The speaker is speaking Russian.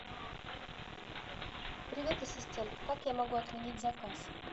привет ассистент как я могу отменить заказ